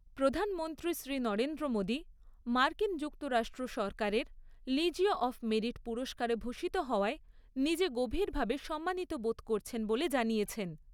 প্রধানমন্ত্রী শ্রী নরেন্দ্র মোদী মার্কিন যুক্তরাষ্ট্র সরকারের 'লিজিয়ঁ অফ মেরিট' পুরস্কারে ভূষিত হওয়ায় নিজে গভীরভাবে সম্মানিত বোধ করছেন বলে জানিয়েছেন।